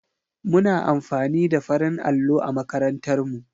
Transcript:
Muna amfani da farin allo a makarantar mu.